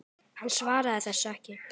Hann svaraði þessu ekki.